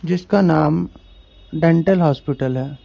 जिसका नाम dental hospital है।